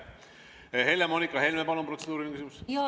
Helle-Moonika Helme, palun, protseduuriline küsimus!